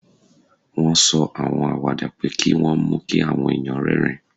Wọ́n sọ àwọn àwàdà pé kí wọ́n mú kí àwọn èèyàn rẹ́rìn-ín